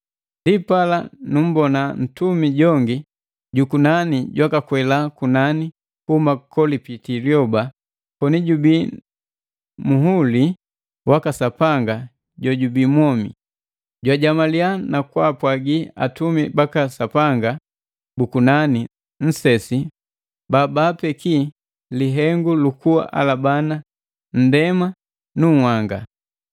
Ndipala nummbona ntumi jongi jukunani jwakakwela kunani kuhuma kolipiti liyoba, koni jubi nu muhuli waka Sapanga jojubi mwomi. Jwajamaliya na kwaapwagi atumi baka Sapanga bu kunani nsesi babaapeki lihengu lu kualabana nndema nu nhanga.